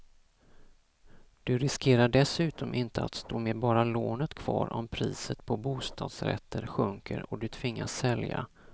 Du riskerar dessutom inte att stå med bara lånet kvar om priset på bostadsrätter sjunker och du tvingas sälja.